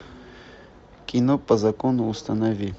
кино по закону установи